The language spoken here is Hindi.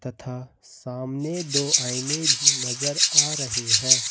तथा सामने दो आईने भी नज़र आ रहे हैं।